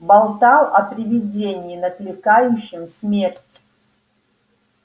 болтал о привидении накликающем смерть